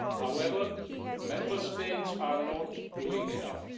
However, Member States are not doing enough.